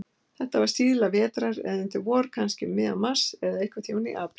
Þetta var síðla vetrar eða undir vor, kannski um miðjan mars, eða einhverntíma í apríl.